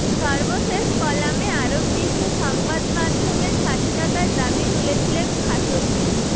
সর্বশেষ কলামে আরব বিশ্বে সংবাদমাধ্যমের স্বাধীনতার দাবি তুলেছিলেন খাশোগি